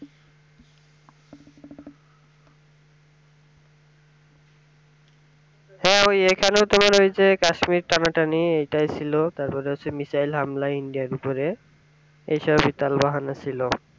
হ্যাঁ ওই এখানেও তোমার ঐযে কাশ্মীর টানাটানি এটাই ছিল তারপরে হচ্ছে missile হামলা india এর উপরে এইসব ই তালবাহানা ছিল